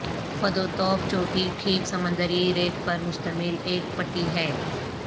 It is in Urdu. فدوتوف چوٹی ٹھیک سمندری ریت پر مشتمل ایک پٹی ہے